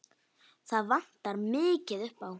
Það vantar mikið upp á.